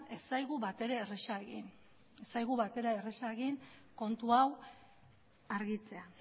ez zaigu batere erraza egin kontu hau argitzea